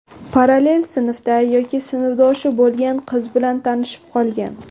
Parallel sinfda yoki sinfdoshi bo‘lgan qiz bilan tanishib qolgan.